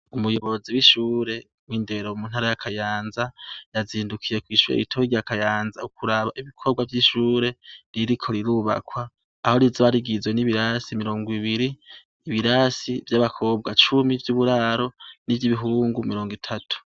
Umuyobozi wishure windero muntara ya kayanza yazindukiye kwishure rito rya kayanza ukuraba ibikorwa vyishure ririko rirubakwa aho rizoba rigizwe nibirasi mirongo ibiri ibirasi vyabakobwa cumi vyuburaro nivyibihungu mirongo itatu